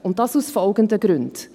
Dies aus folgenden Gründen: